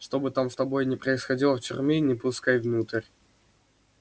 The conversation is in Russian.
что бы там с тобой ни происходило в тюрьме не пускай внутрь